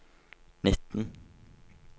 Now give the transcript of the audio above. nitten